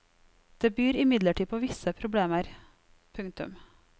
Det byr imidlertid på visse problemer. punktum